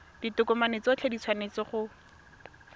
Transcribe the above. ditokomane tsotlhe di tshwanetse go